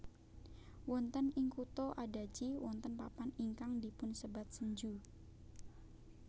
Wonten ing kutha Adachi wonten papan ingkang dipunsebat Senju